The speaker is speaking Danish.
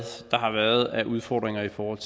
der har været af udfordringer i forhold